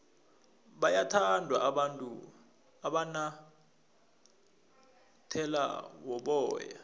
bayawathanda abantu amanyathele woboya